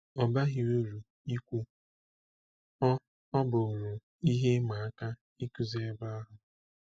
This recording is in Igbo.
Ọ baghị uru ikwu, ọ ọ bụụrụ ihe ịma aka ịkụzi ebe ahụ.